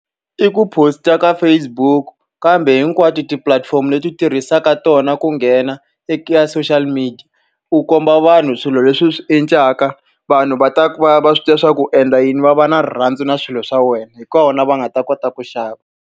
I ku post-a ka Facebook, kambe hinkwato tipulatifomo leti u tirhisaka tona ku nghena eka social media. U komba vanhu swilo leswi swi endlaka, vanhu va ta va va swi tiva leswaku u endla yini, va va na rirhandzu na swilo swa wena. Hi kona va nga ta kota ku xava.